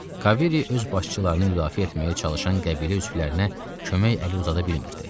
Kavery öz başçılarını müdafiə etməyə çalışan qəbilə üzvlərinə kömək əli uzada bilmirdi.